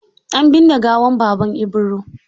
An binne gawar Baban Ibro.